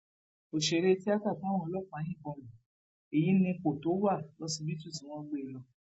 òṣèré tìata táwọn ọlọpàá yìnbọn lu èyí nípò tó wà lọsibítù tí wọn gbé e lọ